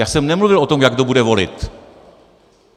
Já jsem nemluvil o tom, jak kdo bude volit.